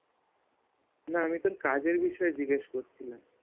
না আমি তোর কাজের বিষয়ে জিজ্ঞাসা করছিলাম